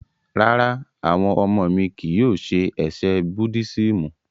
Rárá, awọn ọmọ mi kii yóò ṣe ẹsẹ̀ Búddisimù.